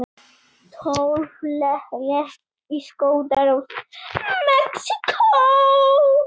Tólf létust í skotárás í Mexíkó